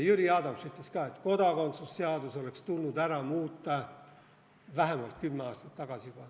Jüri Adams ütles ka, et kodakondsuse seadus oleks tulnud ära muuta juba vähemalt kümme aastat tagasi.